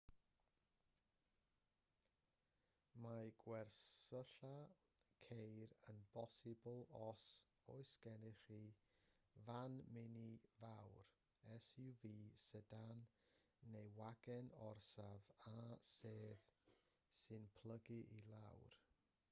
mae gwersylla ceir yn bosibl os oes gennych chi fan mini fawr suv sedan neu wagen orsaf â sedd sy'n plygu i lawr